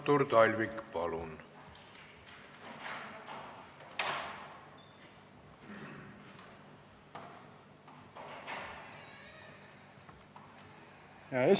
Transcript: Artur Talvik, palun!